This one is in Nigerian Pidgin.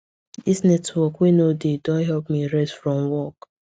this network wey no dey don help me rest from work